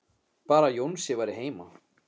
Bara að Jónsi væri heima.